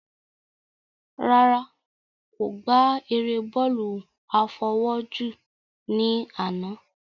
Rárá, kò gbá eré bọ́ọ̀lù àfọwọ́jù ní àná